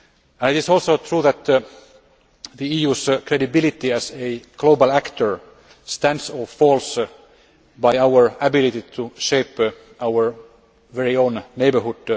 It is also true that the EU's credibility as a global actor stands or falls by our ability to shape our very own neighbourhood.